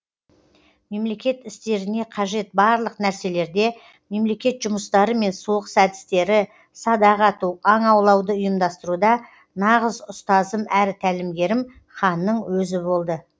мемлекет істеріне қажет барлық нәрселерде мемлекет жұмыстары мен соғыс әдістері садақ ату аң аулауды ұйымдастыруда нағыз ұстазым әрі тәлімгерім ханның өзі болды